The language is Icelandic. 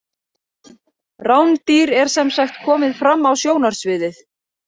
Rándýr er sem sagt komið fram á sjónarsviðið.